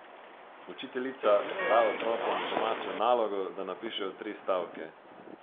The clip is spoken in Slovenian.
Učiteljica da otrokom domačo nalogo, da napišejo tri stavke.